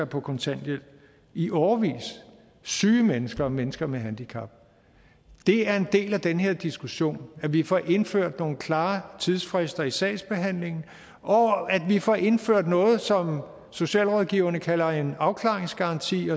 på kontanthjælp i årevis syge mennesker og mennesker med handicap det er en del af den her diskussion at vi får indført nogle klare tidsfrister i sagsbehandlingen og at vi får indført noget som socialrådgiverne kalder en afklaringsgaranti